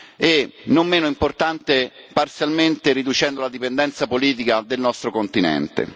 e, non meno importante, parzialmente riducendo la dipendenza politica del nostro continente.